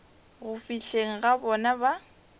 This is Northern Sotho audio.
go fihleng ga bona ba